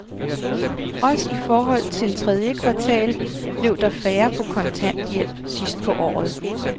Også i forhold til tredje kvartal blev der færre på kontanthjælp sidst på året.